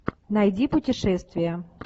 найди путешествие